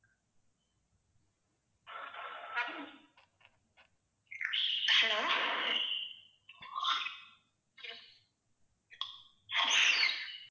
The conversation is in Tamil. hello hello